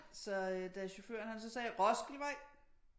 Så da chaufføren han så sagde Roskildevej